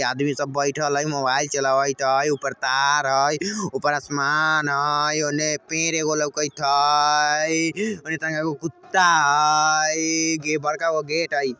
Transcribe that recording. आदमी सब बैएठल हेय मोबाइल चलावेएत हेय ऊपर तार हेय ऊपर असमान हेय औनने एक पेड़ हेय कुत्ता हेय ए बड़का गो गेट हेय।